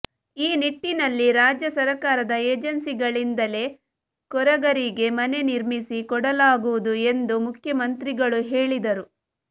ಈ ನಿಟ್ಟಿನಲ್ಲಿ ರಾಜ್ಯ ಸರಕಾರದ ಏಜನ್ಸಿಗಳಿಂದಲೇ ಕೊರಗರಿಗೆ ಮನೆ ನಿರ್ಮಿಸಿ ಕೊಡಲಾಗುವುದು ಎಂದು ಮುಖ್ಯಮಂತ್ರಿಗಳು ಹೇಳಿದರು